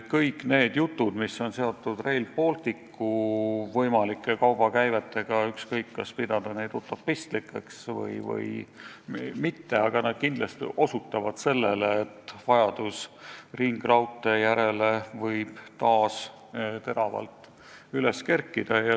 Kõik need jutud, mis on seotud Rail Balticu võimalike kaubakäivetega – ükskõik, kas pidada neid utopistlikeks või mitte – kindlasti osutavad sellele, et vajadus ringraudtee järele võib taas teravalt üles kerkida.